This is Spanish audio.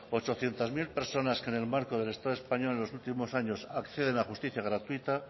ochocientos mil personas que en el marco del estado español en los últimos años acceden a la justicia gratuita